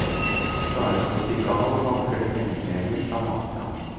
Klarer du å stikke av, vanker det pengepremier fra mafiaen.